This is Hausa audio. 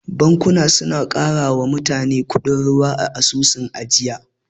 Bankuna suna karawa mutane kudin ruwa a asusun ajiya.